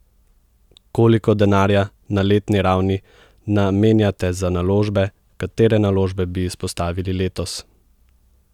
Koliko denarja na letni ravni namenjate za naložbe, katere naložbe bi izpostavili letos?